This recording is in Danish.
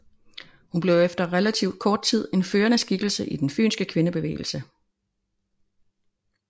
Hun blev efter relativt kort tid en førende skikkelse i den fynske kvindebevægelse